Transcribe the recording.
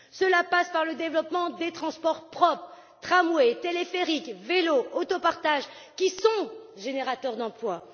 Cela passera aussi par le développement des transports propres tramway, téléphérique, vélo, autopartage, qui sont générateurs d'emplois.